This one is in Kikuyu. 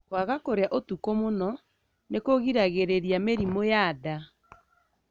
Kwaga kũrĩa ũtukũ mũno nĩkũgĩragĩrĩria mĩrimũ ya nda.